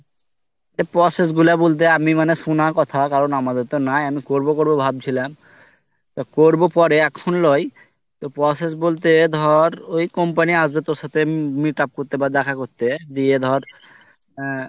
ত process গুলো বলতে আমি মানে শুনা কথা কারণ আমাদের তো নাই আমি করবো করবো ভাবছিলাম তো করবো পরে এখন লই ধর তো process বলতে ধর ওই company আসবে তোর সাথে meet up করতে বা দেখা করতে দিয়ে ধর এ